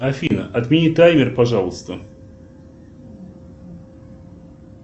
афина отмени таймер пожалуйста